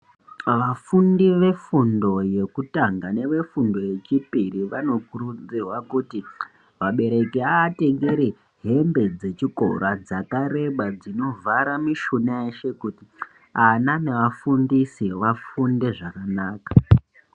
Vafundi vefundo yekutanga nevefundo yechipiri vanokurudzirwa kuti vabereki aatengere hembe dzechikora dzakareba dzinovhara mushuna yeshe kuti ana neafundisi vafunde zvakanaka.